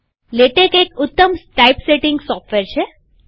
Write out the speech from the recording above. LaTeX એક ઉત્તમ typesetting software છે